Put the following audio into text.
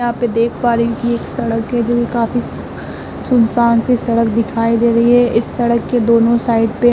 यहां पे देख पा रही हूं कि एक सड़क है जोकि काफी सुनसान-सी सड़क दिखाई दे रही है। इस सड़क के दोनों साइड पे --